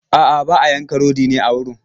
A'a, ba a yanka rodi ne a wurin.